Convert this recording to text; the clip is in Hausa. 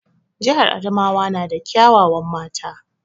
Jihar Adamawa na da kya wawan mata